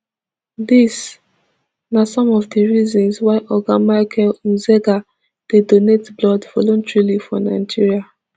dis na some of di reasons why oga micheal mzega dey donate blood voluntarily for nigeria